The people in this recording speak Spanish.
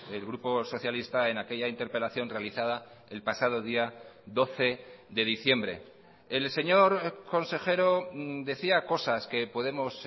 el grupo socialista en aquella interpelación realizada el pasado día doce de diciembre el señor consejero decía cosas que podemos